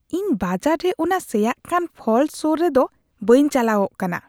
ᱤᱧ ᱵᱟᱡᱟᱨ ᱨᱮ ᱚᱱᱟ ᱥᱮᱭᱟᱜ ᱠᱟᱱ ᱯᱷᱚᱞ ᱥᱳᱨ ᱨᱮᱫᱚ ᱵᱟᱹᱧ ᱪᱟᱞᱟᱣᱚᱜ ᱠᱟᱱᱟ ᱾